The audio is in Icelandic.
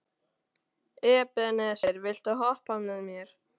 Ebeneser, viltu hoppa með mér?